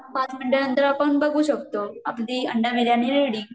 पाच मिनीटानंतर आपण बघू शकतो, अगदी अंडा बिर्याणी रेडी